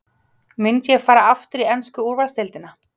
Myndi ég fara aftur í ensku úrvalsdeildina?